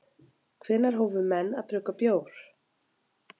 Hvenær hófu menn að brugga bjór?